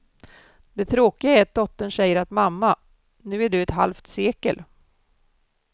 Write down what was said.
Det tråkiga är att dottern säger att mamma, nu är du ett halvt sekel.